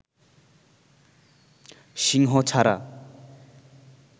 সিংহ ছাড়া